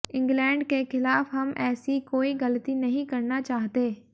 England के खिलाफ हम ऐसी कोई गलती नहीं करना चाहते